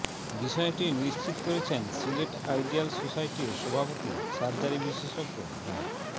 বিষয়টি নিশ্চিত করেছেন সিলেট আইডিয়াল সোসাইটির সভাপতি সার্জারী বিশেষজ্ঞ ডা